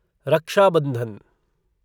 रक्षा बंधन